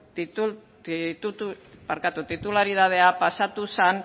titularitatea pasatu zen